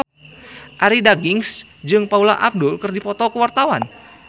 Arie Daginks jeung Paula Abdul keur dipoto ku wartawan